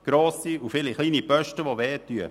Es gab viele grosse und kleine Posten, die wehtun.